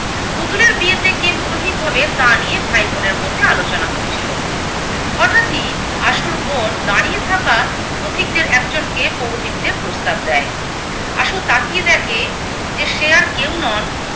পুতুলের বিয়েতে কে পুরোহিত হবে তা নিয়ে ভাই বোনের মধ্যে আলোচনা হচ্ছিলো। হঠাৎই আশুর বোন দাঁড়িয়ে থাকা পথিকদের একজনকে পৌরোহিত্যের প্রস্তাব দেয়। আশু তাকিয়ে দেখে যে সে আর কেউ নন